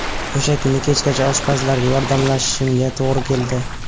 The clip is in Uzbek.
O‘sha kuni kechgacha oshpazlarga yordamlashishimga to‘g‘ri keldi.